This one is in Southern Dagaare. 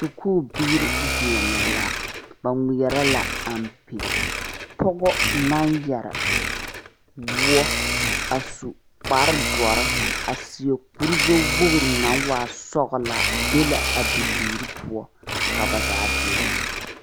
Sukuubiire deɛnɛ la ba ngmeɛrɛ la ampe pɔgɔ naŋ yɛre woɔ a su kparedɔre a seɛ kuri gbɛwogre naŋ waa sɔglaa ve la a bibiire poɔ ka ba zaa deɛnɛ.